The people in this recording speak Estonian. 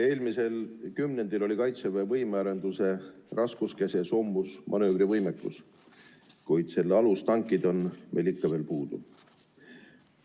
Eelmisel kümnendil oli Kaitseväe võimearenduse raskuskese soomusmanöövrivõimekus, kuid selle alus – tankid – on meil ikka veel puudu.